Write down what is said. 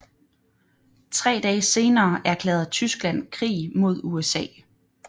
Tre dage senere erklærede Tyskland krig mod USA